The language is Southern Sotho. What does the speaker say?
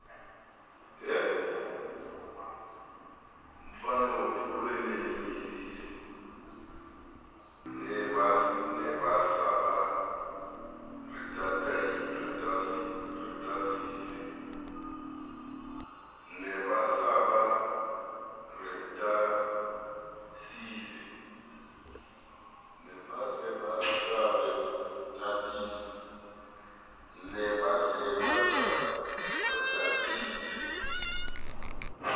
ne ba sa ba ratesise